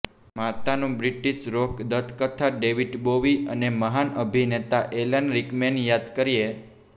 માતાનો British rock દંતકથા David Bowie અને મહાન અભિનેતા એલન રિકમેન યાદ કરીએ